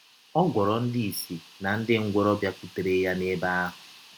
Ọ gwọrọ ndị ìsì na ndị ngwọrọ bịakwụtere ya n’ebe ahụ.